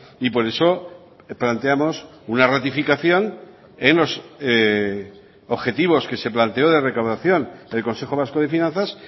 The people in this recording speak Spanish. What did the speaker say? y por eso plantemos una ratificación en los objetivos que se planteó de recaudación el consejo vasco de finanzas